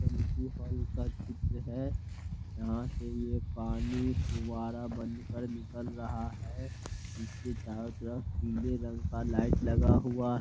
समुद्री हॉल का चित्र है यहाँ से ये पानी फुव्वारा बन कर निकल रहा है। इसके चारो तरफ पीले रंग का लाइट लगा हुआ--